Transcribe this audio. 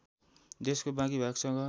देशको बाँकी भागसँग